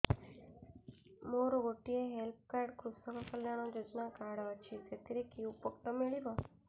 ମୋର ଗୋଟିଏ health card କୃଷକ କଲ୍ୟାଣ ଯୋଜନା କାର୍ଡ ଅଛି ସାଥିରେ କି ଉପକାର ମିଳିବ